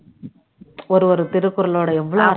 ஒரு ஒரு திருக்குறளோட எவ்வளவு